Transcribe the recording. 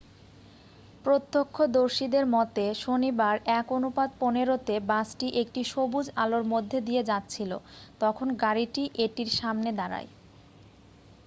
প্রত্যক্ষদর্শীদের মতে শনিবার 1:15 তে বাসটি একটি সবুজ আলোর মধ্যে দিয়ে যাচ্ছিল তখন গাড়িটি এটির সামনে দাঁড়ায়